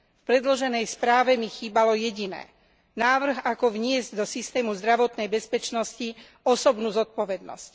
V predloženej správe mi chýbalo jediné návrh, ako vniesť do systému zdravotnej bezpečnosti osobnú zodpovednosť.